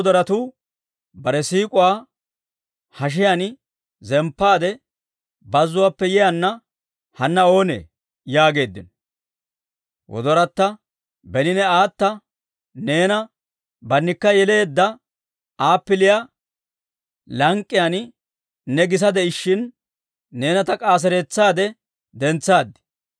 Bare siik'uwaa hashiyaan zemppaade, bazzuwaappe yiyaana hanna oonee? yaageeddino. Wodoratta: Beni ne aata neena bannikka yeleedda, appiliyaa lank'k'iyaan ne gisa de'ishshin, neena ta k'aaseretsaade dentsaad.